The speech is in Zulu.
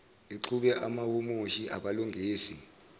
ixube abahumushi abalungisa